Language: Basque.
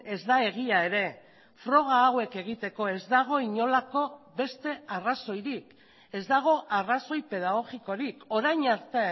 ez da egia ere froga hauek egiteko ez dago inolako beste arrazoirik ez dago arrazoi pedagogikorik orain arte